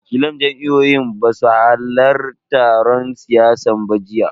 Wakilan jam'iyyun basu hallarin taron siyasan ba jiya.